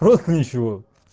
просто ничего